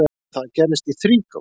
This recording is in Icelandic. Það gerðist í þrígang.